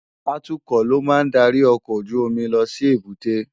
Àtúkò ló má n dàrí òkòójùómì lòsí ébùté